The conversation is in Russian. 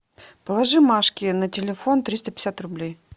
положи машке на телефон триста пятьдесят рублей